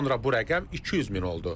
Sonra bu rəqəm 200 min oldu.